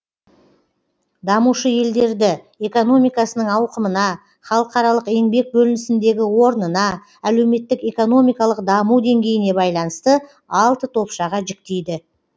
дамушы елдерді экономикасының ауқымына халықаралық еңбек бөлінісіндегі орнына әлеуметтік экономикалық даму деңгейіне байланысты алты топшаға жіктейді